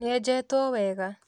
Nĩenjetwo wega?